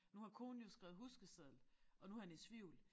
Nu har konen jo skrevet huskeseddel og nu han i tvivl